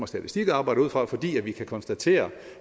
statistik arbejder ud fra fordi vi kan konstatere